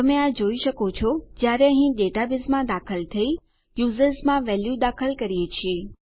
તમે આ જોઈ શકો છો જયારે અહીં ડેટાબેઝમાં દાખલ થઈ યુઝર્સ માં વેલ્યુ દાખલ કરીએ છીએ